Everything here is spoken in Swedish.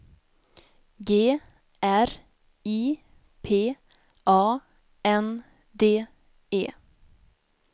G R I P A N D E